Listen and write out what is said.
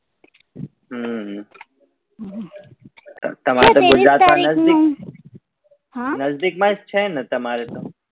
હમ તમારે તો નઝદીક માં જ છે ને તમારે તો